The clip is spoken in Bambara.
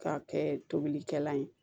K'a kɛ tobilikɛla ye